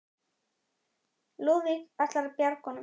Lúðvík ætlað að bjarga honum.